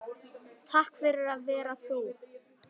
Takk fyrir að vera þú.